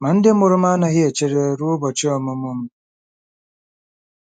Ma ndị mụrụ m anaghị echere ruo ụbọchị ọmụmụ m.